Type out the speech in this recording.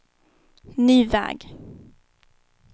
ny väg